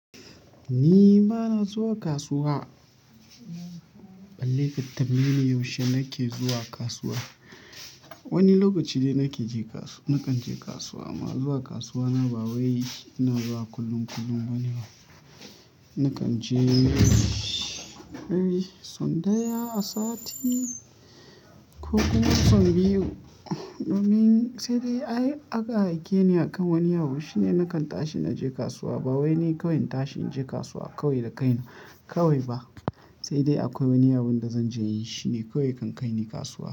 Ni bana zuwa kasuwa. Balle ku tambayeni yaushe nake zuwa kasuwa. Wani lokaci dai nake je kasu nakan je kasuwa amma zuwa kasuwa na ba wai ina zuwa kullum kullum ba ne. Nakan je dai son daya a sati ko kuma son biyu. Sai dai aka aike ni akan wani abu shine nakan tashi na je kasuwa. Ba wai ni kawai in tashi inje kasuwa kawai da kaina kawai ba. Sai dai akwai wani abunda zanje yi, shine kawai yakan kaini kasuwa.